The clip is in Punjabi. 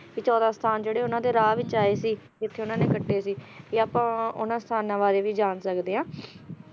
ਤੇ ਚੌਦਾਂ ਸਥਾਨ ਜਿਹੜੇ ਉਹਨਾਂ ਦੇ ਰਾਹ ਵਿੱਚ ਆਏ ਸੀ, ਜਿੱਥੇ ਉਹਨਾਂ ਨੇ ਕੱਟੇ ਸੀ ਵੀ ਆਪਾਂ ਉਹਨਾਂ ਸਥਾਨਾਂ ਬਾਰੇ ਵੀ ਜਾਣ ਸਕਦੇ ਆ